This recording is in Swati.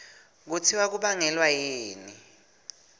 kutsi kubangelwa yini